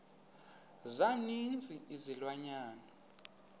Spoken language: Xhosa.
za ninzi izilwanyana